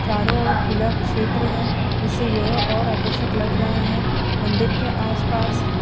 चारों ओर खुला क्षेत्र है। इससे यह और आकर्षक लग रहा है। मंदिर के आसपास --